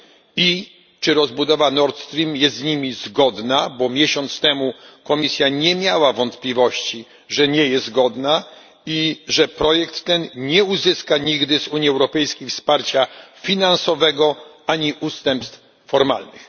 I czy rozbudowa Nord Stream jest z nimi zgodna? Miesiąc temu Komisja nie miała wątpliwości, że nie jest zgodna i że projekt ten nie uzyska nigdy z Unii Europejskiej wsparcia finansowego ani ustępstw formalnych.